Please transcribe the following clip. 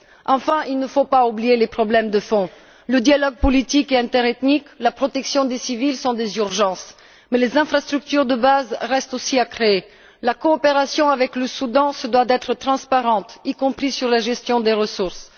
Enfin, il ne faut pas oublier les problèmes de fond le dialogue politique et interethnique et la protection des civils sont des urgences, mais les infrastructures de base restent aussi à créer. La coopération avec le Soudan se doit d'être transparente, y compris sur la gestion des ressources.